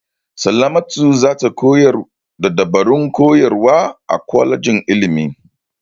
Salamatu za ta koyar da dabarun koyarwa a kwalejin ilimi.